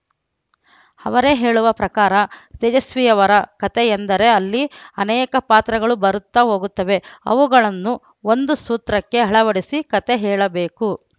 ಅವರೇ ಹೇಳುವ ಪ್ರಕಾರ ತೇಜಸ್ವಿಯವರ ಕತೆಯೆಂದರೆ ಅಲ್ಲಿ ಅನೇಕ ಪಾತ್ರಗಳು ಬರುತ್ತಾ ಹೋಗುತ್ತವೆ ಅವುಗಳನ್ನು ಒಂದು ಸೂತ್ರಕ್ಕೆ ಅಳವಡಿಸಿ ಕತೆ ಹೇಳಬೇಕು